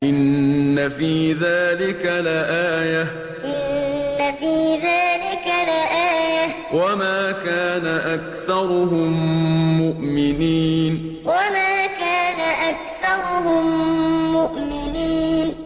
إِنَّ فِي ذَٰلِكَ لَآيَةً ۖ وَمَا كَانَ أَكْثَرُهُم مُّؤْمِنِينَ إِنَّ فِي ذَٰلِكَ لَآيَةً ۖ وَمَا كَانَ أَكْثَرُهُم مُّؤْمِنِينَ